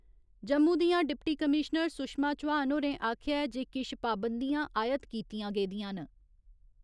जम्मू दियां deputy commissioner Sushma Chauhan होरें आखेआ ऐ जे किश पाबंदियां आयत कीतियां गेदियां न।